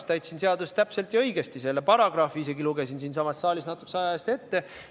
Ma täitsin seadust täpselt ja õigesti, lugesin isegi selle paragrahvi siinsamas saalis natukese aja eest ette.